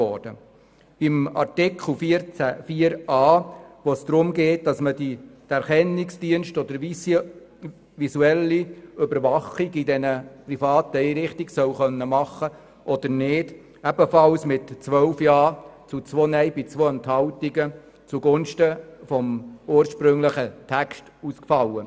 Die Abstimmung zu Artikel 14 Absatz 4 Buchstabe a, in dem es darum geht, dass ein Erkennungsdienst oder eine visuelle Überwachung in privaten Einrichtungen vorgenommen werden kann, fiel ebenfalls mit 12 gegen 2 Stimmen bei 2 Enthaltungen zugunsten des ursprünglichen Text aus.